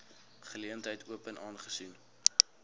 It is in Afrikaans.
geleentheid open aangesien